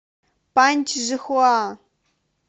паньчжихуа